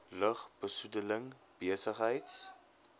lug besoedeling besigheids